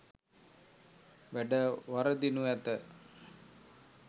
වැඩ වරදිනු ඇත.